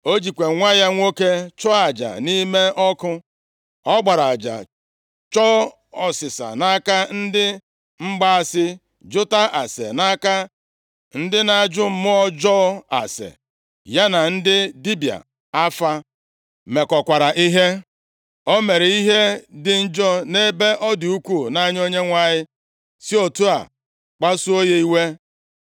O jikwa nwa ya nwoke chụọ aja nʼime ọkụ, ọ gbara aja, chọọ ọsịsa nʼaka ndị mgbaasị, jụta ase nʼaka ndị na-ajụ mmụọ ọjọọ ase, ya na ndị dibịa afa mekọkwara ihe. O mere ihe dị njọ nʼebe ọ dị ukwuu nʼanya Onyenwe anyị, si otu a kpasuo ya iwe.